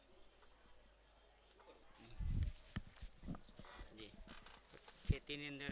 ખેતી ની અંદર